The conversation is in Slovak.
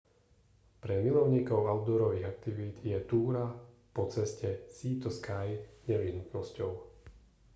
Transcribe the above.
pre milovníkov outdoorových aktivít je túra po ceste sea to sky nevyhnutnosťou